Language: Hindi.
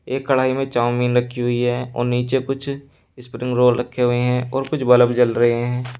एक कढ़ाई में चावमीन रखी हुई है और नीचे कुछ स्प्रिंग रोल रखे हुए है और कुछ बलब जल रहे है।